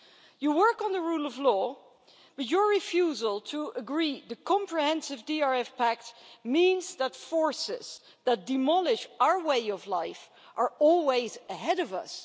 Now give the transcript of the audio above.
You work on the rule of law, but your refusal to agree the comprehensive DRF Pact means that forces that demolish our way of life are always ahead of us.